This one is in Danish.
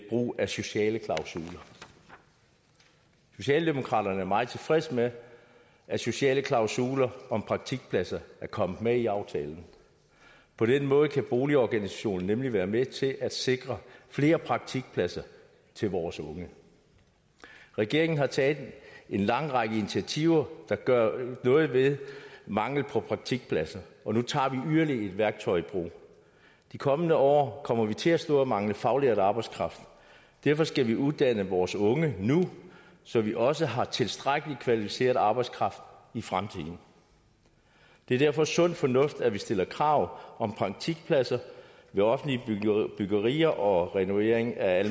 brug af sociale klausuler socialdemokraterne er meget tilfredse med at sociale klausuler om praktikpladser er kommet med i aftalen på den måde kan boligorganisationerne nemlig være med til at sikre flere praktikpladser til vores unge regeringen har taget en lang række initiativer der gør noget ved manglen på praktikpladser og nu tager vi yderligere et værktøj i brug i de kommende år kommer vi til at stå og mangle faglært arbejdskraft derfor skal vi uddanne vores unge nu så vi også har tilstrækkelig kvalificeret arbejdskraft i fremtiden det er derfor sund fornuft at vi stiller krav om praktikpladser ved offentlige byggerier og renovering af